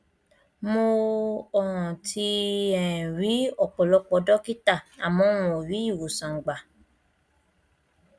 mo um ti um ri ọpọlọpọ dọkítà àmọ n ò rí ìwòsàn gbà